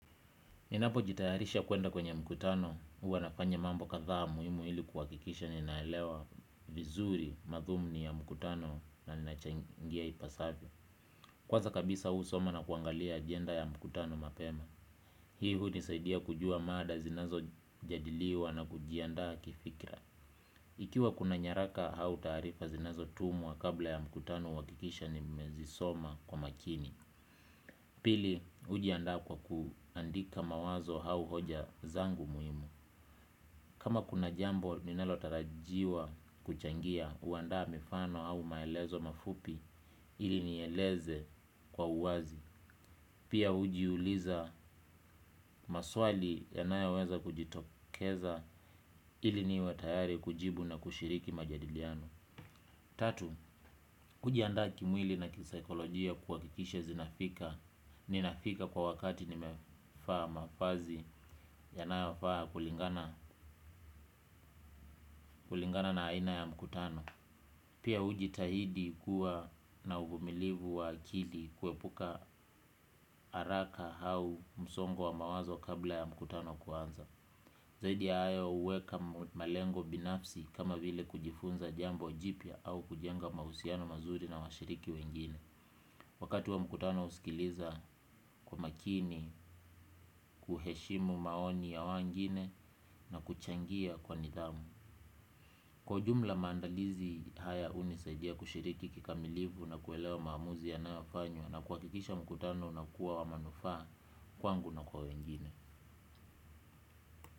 Ninapo jitayarisha kuenda kwenye mkutano, huwa nafanya mambo kadhaa muhimu ili kuhakikisha ninaelewa vizuri madhumni ya mkutano na ninachangia ipasafvyo. Kwaza kabisa husoma na kuangalia agenda ya mkutano mapema. Hii hunisaidia kujua mada zinazojadiliwa na kujiandaa kifikra. Ikiwa kuna nyaraka au taarifa zinazo tumwa kabla ya mkutano huhakikisha nimezisoma kwa makini. Pili hujiandaa kwa kuandika mawazo au hoja zangu muhimu. Kama kuna jambo linalotarajiwa kuchangia huandaa mifano au maelezo mafupi ili nieleze kwa uwazi. Pia hujiuliza maswali yanayo weza kujitokeza ili niwe tayari kujibu na kushiriki majadiliano. Tatu, kujiandaa kimwili na kisaikolojia kuhakikisha zinafika. Ninafika kwa wakati nimevaa mavazi yanayafaa kulingana na aina ya mkutano. Pia hujitahidi kuwa na uvumilivu wa akili, kuepuka haraka au msongo wa mawazo kabla ya mkutano kuanza. Zaidi hayo, huweka malengo binafsi kama vile kujifunza jambo jipya au kujenga mahusiano mazuri na washiriki wengine. Wakati wa mkutano husikiliza kwa makini, kuheshimu maoni ya wengine na kuchangia kwa nidhamu. Kwa ujumla maandalizi haya hunisaidia kushiriki kikamilifu na kuelewa maamuzi yanayo fanywa, na kuhakikisha mkutano unakuwa wa manufaa kwangu na kwa wangine.